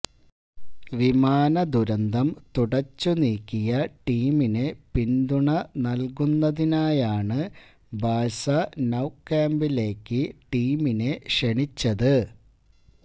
വിമാന ദുരന്തം തുടച്ചു നീക്കിയ ടീമിന് പിന്തുണ നല്കുന്നതിനായാണ് ബാഴ്സ നൌകാമ്പിലേക്ക് ടീമിനെ ക്ഷണിച്ചത്